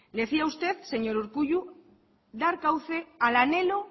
decía usted señor urkullu dar cauce al anhelo